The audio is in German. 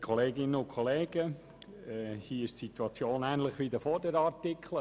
Die Situation ist hier ähnlich wie bei den vorherigen Artikeln.